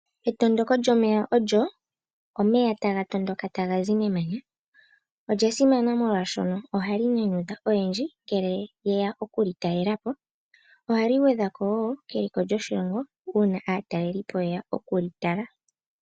Etondoko lyomeya olyo omeya taga tondoka taga zi memanya. Olya simana molwashono oha li nyanyudha oyendji ngele yeya okuli talelapo, ohali gwedha ko wo keliko lyoshilongo una aatalelipo ye ya okuli tala.